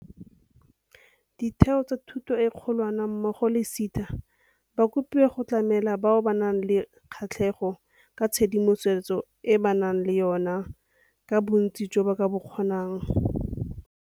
Ditheo tsa thuto e kgolwane mmogo le SETA ba kopiwa go tlamela bao ba nang le kgatlhego ka tshedimosetso e ba nang le yona ka bontsi jo ba ka bo kgonang.